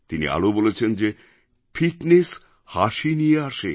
তিনি আরও বলেছেন যে ফিটনেস হাসি নিয়ে আসে